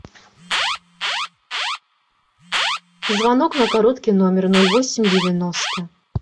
звонок на короткий номер ноль восемь девяносто